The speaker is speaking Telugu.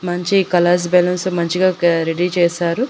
మంచి కలర్స్ బెలూన్స్ మంచిగా రెడీ చేశారు.